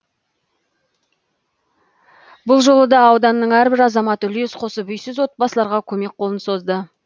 бұл жолы да ауданның әрбір азаматы үлес қосып үйсіз отбасыларға көмек қолын созды